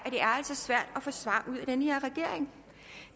svært at få svar ud af den her regering